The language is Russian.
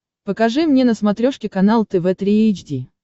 покажи мне на смотрешке канал тв три эйч ди